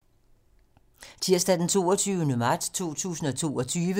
Tirsdag d. 22. marts 2022